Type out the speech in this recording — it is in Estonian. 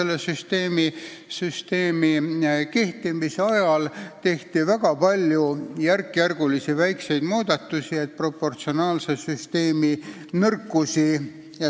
Esimesed kümme aastat tehti väga palju järkjärgulisi väikseid muudatusi, et minimeerida proportsionaalse süsteemi nõrkusi.